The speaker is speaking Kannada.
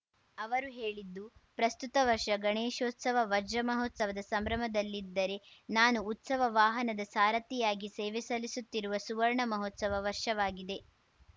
ಅವರು ಹೇಳಿದ್ದು ಪ್ರಸ್ತುತ ವರ್ಷ ಗಣೇಶೋತ್ಸವ ವಜ್ರ ಮಹೋತ್ಸವದ ಸಂಭ್ರಮದಲ್ಲಿದ್ದರೆ ನಾನು ಉತ್ಸವ ವಾಹನದ ಸಾರಥಿಯಾಗಿ ಸೇವೆ ಸಲ್ಲಿಸುತ್ತಿರುವ ಸುವರ್ಣ ಮಹೋತ್ಸವ ವರ್ಷವಾಗಿದೆ